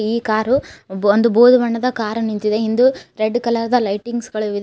ಈ ಕಾರು ಒಂದ್ ಬೂದು ಬಣ್ಣದ ಕಾರ ನಿಂತಿದೆ ಹಿಂದೆ ರೆಡ್ಡು ಕಲರ್ ದ ಲೈಟಿಂಗ್ಸ್ ಗಳು ಇದೆ.